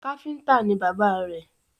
Káfíntà ní bàbá rẹ̀